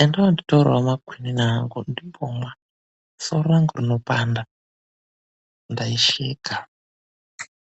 enda woonditorerawo makwinini angu ndimbomwa, soro rangu rinopanda. Ndaisheka.